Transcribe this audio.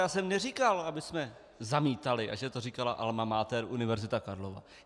Já jsem neříkal, abychom zamítali a že to říkala alma mater, Univerzita Karlova.